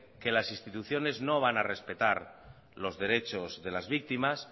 que las instituciones no van respetar los derechos de las víctimas